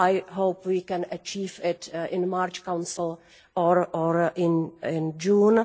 I hope we can achieve it at the March Council or in June.